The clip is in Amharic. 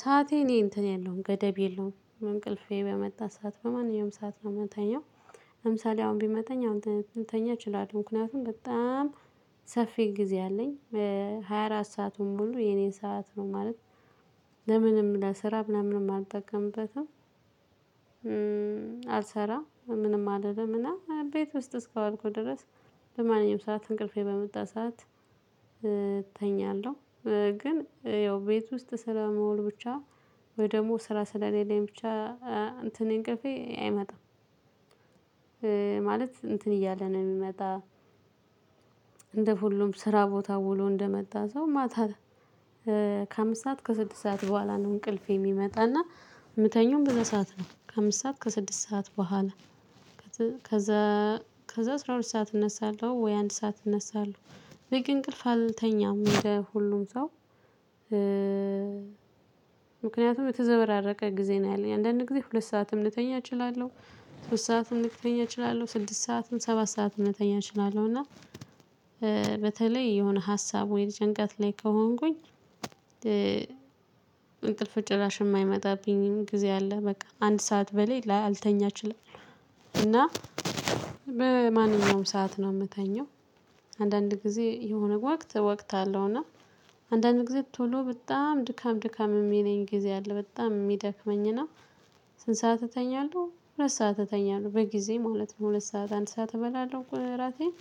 ሰዓቴ እኔ እንትን የለውም ገደብ የለውም እንቅልፌ በመጣች ሰዓት በማንኛውም ሰዓት ነው ምተኛው። ለምሳሌ አሁን ቢመጣኝ አሁን ልተኛ እችላለሁ ምክንያቱም በጣም ሰፊ ጊዜ አለኝ። ሃያ አራት ሰአቱን ሙሉ የኔ ሰዓት ነው ማለት ለምንም ለሰራም ለምንም አልጠቀምበትም። አልሰራም ምንም አልልም እና ቤት ውስጥ እስከዋልኩ ድረስ በማንኛውም ሰዓት እንቅልፌ በመጣ ሰዓት እተኛለሁ። ግን ያው ቤት ውስጥ ስለምውል ብቻ ወይ ደግሞ ስራ ስለሌለኝ ብቻ እንትንን እንቅልፌ አይመጣም። ማለት እንትን እያለ ነው የሚመጣ። እንደ ሁሉም ስራ ቦታ ውሎ እንደመጣ ሰው ማታ ከአምስት ሰዓት ከስድስት ሰዓት በኋላ ነው እንቅልፍ የሚመጣና። የምተኛውም በዛ ሰዓት ነው ከአምስት ሰዓት ከስድስት ሰዓት በኋላ። ከዛ ከዛ አስራ ሁለት ሰዓት እነሳለሁ ወይ አንድ ሰዓት እነሳለሁ። ግን እንቅልፍ አልተኛም የሁሉም ሰው። ምክንያቱም የተዘበራረቀ ጊዜ ነው ያለኝ አንዳንዴ ሁለት ሰዓትም ልተኛ እችላለሁ። ሶስት ሰዓትም ልተኛ እችላለሁ ስድስት ሰዓትም ሰባት ሰዓትም ልተኛ እችላለሁ እና በተለይ የሆነ ሀሳብ ወይ ጭንቀት ላይ ከሆንኩኝ። እንቅልፍ ጭራሽ የማይመጣብኝን ጊዜ አለ በቃ አንድ ሰዓት በሌላ አልተኛችም። እና ማነኛውም ሰዓት ነው የምተኛው። አንዳንድ ጊዜ የሆነ ወቅት ወቅት አለው። እና አንዳንድ ጊዜ ቶሎ በጣም ድካም ድካም የሚለኝ ጊዜ አለ በጣም የሚደክመኝ እና። ስንት ሰዓት እተኛለሁ ሁለት ሰዓት እተኛለሁ በጊዜ ማለት ነው ሁለት ሰዓት አንድ ሰዓት እበላለሁ እራቴን።